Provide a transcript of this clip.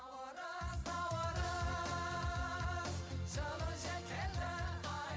наурыз наурыз жылы жел келді ай